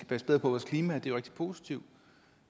passe bedre på vores klima og det er rigtig positivt